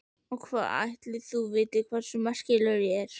Og hvað ætli þú vitir hversu merkilegur ég er?